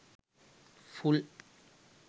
full